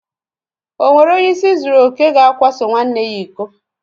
O nwere onye ịsị zuru okè ga akwaso nwanne ya iko?